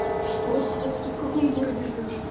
что стопки в каком городе живёш